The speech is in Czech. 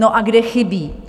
No a kde chybí?